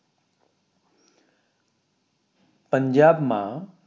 પંજાબ માં